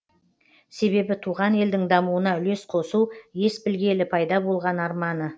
себебі туған елдің дамуына үлес қосу ес білгелі пайда болған арманы